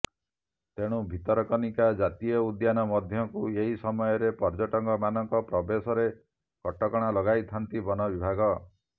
ତେଣୁ ଭିତରକନିକା ଜାତୀୟ ଉଦ୍ୟାନ ମଧ୍ୟକୁ ଏହି ସମୟରେ ପର୍ଯ୍ୟଟକମାନଙ୍କ ପ୍ରବେଶରେ କଟକଣା ଲଗାଇଥାନ୍ତି ବନ ବିଭାଗ